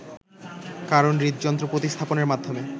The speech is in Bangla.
কারণ হৃদযন্ত্র প্রতিস্থাপনের মাধ্যমে